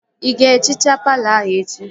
Ị ga-ehichaa palọ ahụ echi?